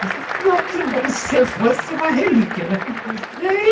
Você estudou aqui como se você fosse uma relíquia, né? E aí